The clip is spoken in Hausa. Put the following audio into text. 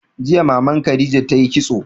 Jiya Maman Khadija ta yi kitso.